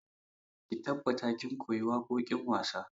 Ki tabbata kin koyi waƙoƙin wasa!